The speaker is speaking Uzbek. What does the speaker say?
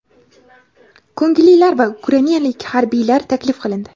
ko‘ngillilar va ukrainalik harbiylar taklif qilindi.